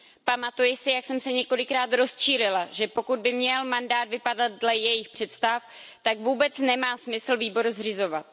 Pamatuji si, jak jsem se několikrát rozčílila, že pokud by měl mandát vypadat dle jejich představ, tak vůbec nemá smysl výbor zřizovat.